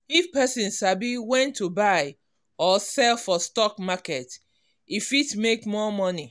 if person sabi when to buy or sell for stock market e fit e fit make more money.